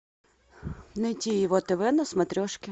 найти его тв на смотрешке